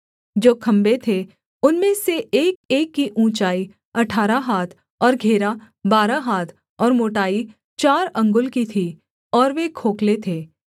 जो खम्भे थे उनमें से एकएक की ऊँचाई अठारह हाथ और घेरा बारह हाथ और मोटाई चार अंगुल की थी और वे खोखले थे